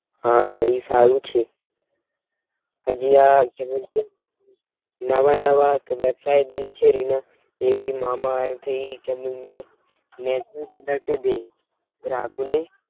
હા ઈ સારું છે. હજી આ નાવાનાં વાળ ધરાસાય બને છે રિના ટેન્ગી મામા થઇ કેમન મેં ને દી ગ્રાહકો ને